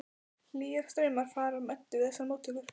Hlýir straumar fara um Eddu við þessar móttökur.